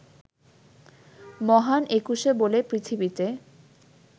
মহান একুশে বলে পৃথিবিতে